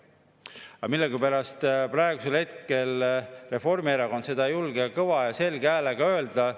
Aga millegipärast ei julge praegusel hetkel Reformierakond seda kõva ja selge häälega öelda.